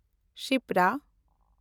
ᱠᱷᱥᱤᱯᱨᱟ